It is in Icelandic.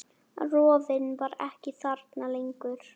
Rofinn var ekki þarna lengur.